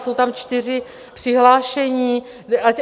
Jsou tam čtyři přihlášení.